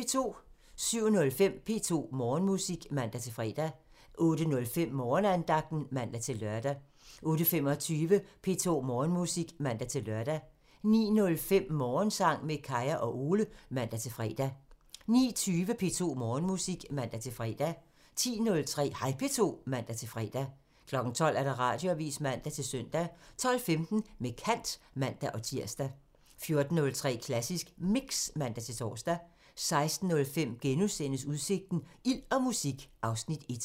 07:05: P2 Morgenmusik (man-fre) 08:05: Morgenandagten (man-lør) 08:25: P2 Morgenmusik (man-lør) 09:05: Morgensang med Kaya og Ole (man-fre) 09:20: P2 Morgenmusik (man-fre) 10:03: Hej P2 (man-fre) 12:00: Radioavisen (man-søn) 12:15: Med kant (man-tir) 14:03: Klassisk Mix (man-tor) 16:05: Udsigten – Ild og musik (Afs. 1)*